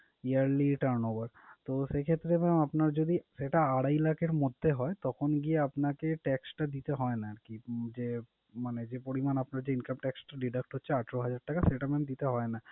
yearly turn over তো সেই ক্ষেত্রে mam আপনার যদি সেটা আড়াই লাখের মধ্যে হয় তখন গিয়ে আপনাকে tax টা দিতে হয় না আরকি উম যে, মানে যে পরিমান আপনার যে income tax টা deduct charge ছয় হাজার টাকা সেটা mam দিতে হয় না।